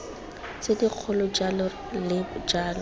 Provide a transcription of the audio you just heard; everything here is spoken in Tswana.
tse dikgolo jalo le jalo